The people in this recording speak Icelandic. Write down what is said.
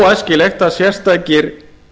óæskilegt að sérstakir